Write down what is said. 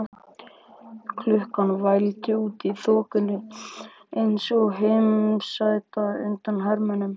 Klukkan vældi út í þokuna eins og heimasæta undan hermönnum.